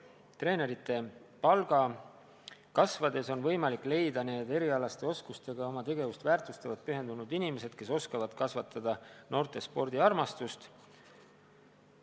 Treenerite palga kasvades on võimalik leida need erialaste oskustega ja oma tegevust väärtustavalt pühendunud inimesed, kes oskavad kasvatada noortes spordiarmastust.